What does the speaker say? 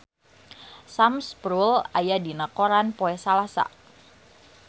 Sam Spruell aya dina koran poe Salasa